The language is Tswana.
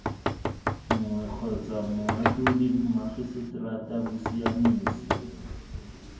nngwe kgotsa moatlhodi mmagiseterata bosiamisi